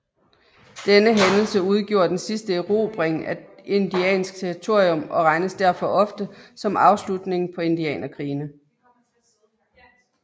Denne hændelsen udgjorde den sidste erobring af indiansk territorium og regnes derfor ofte som afslutningen på indianerkrigene